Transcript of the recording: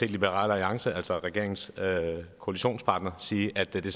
liberal alliance altså regeringens koalitionspartner sige at det